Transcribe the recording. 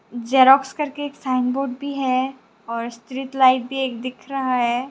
Xerox करके sign board भी है और स्ट्रीट लाइट भी एक दिख रहा है।